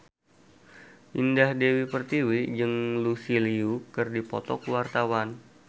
Indah Dewi Pertiwi jeung Lucy Liu keur dipoto ku wartawan